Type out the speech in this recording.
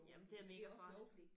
Jamen det er mega farligt